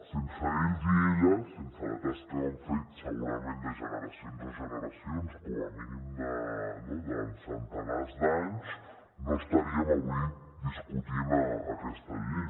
sense ells i elles sense la tasca que han fet segurament de generacions en generacions com a mínim durant centenars d’anys no estaríem avui discutint aquesta llei